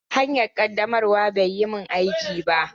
Hanyar ƙaddamarwa bai yi min aiki ba.